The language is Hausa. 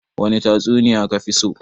wani tatsuniya kafiso?